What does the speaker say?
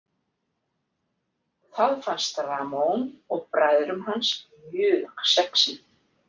Það fannst Ramón og bræðrum hans mjög sexí.